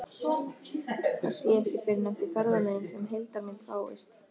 Það sé ekki fyrr en eftir ferðalögin sem heildarmynd fáist.